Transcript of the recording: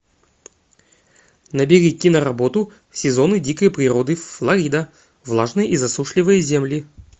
набери киноработу сезоны дикой природы флорида влажные и засушливые земли